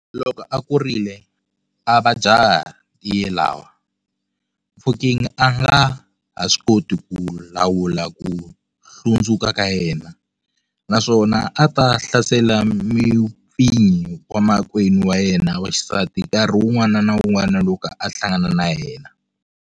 Loko a kurile, a va jaha ntiyelwa, Mofokeng a nga ha swi koti ku lawula ku hlundzuka ka yena, naswona a ta hlasela mupfinyi wa makwenu wa yena wa xisati nkarhi wun'wana na wun'wana loko a hlangana na yena.